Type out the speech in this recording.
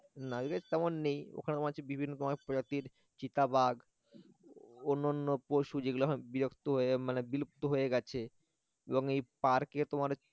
না এদিকে তেমন নেই ওখানে তোমার হচ্ছে বিভিন্ন তোমার প্রজাতির চিতাবাঘ অন্যান্য অন্যান্য পশু যেগুলো বিলুপ্ত হয়ে মানে বিলুপ্ত হয়ে গেছে এবং এই park এ তোমার হচ্ছে